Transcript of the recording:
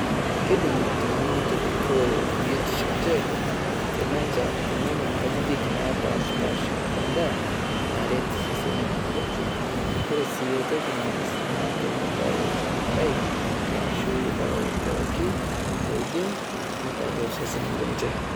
Keidim iltung'ana neitobikoo biotisho enche, tenenya inkajijik napashi paasha endaa naret iseseni lenche, kore sii aitoki naas na tenepal emerai washu ildawai pookin oidim neitar iseseni lenje.